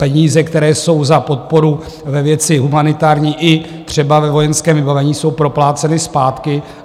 Peníze, které jsou za podporu ve věci humanitární i třeba ve vojenském vybavení, jsou propláceny zpátky.